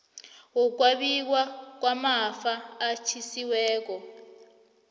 wokwabiwa kwamafa atjhiyiweko